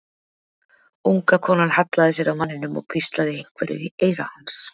Unga konan hallaði sér að manninum og hvíslaði einhverju í eyra hans.